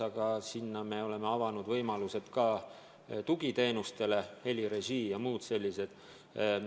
Aga seal me oleme avanud võimalused toetada ka tugiteenuseid – helirežii ja muu selline.